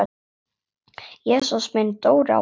Jesús minn, Dóri á Her!